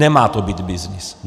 Nemá to být byznys.